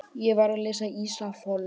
Ég var að lesa Ísafold.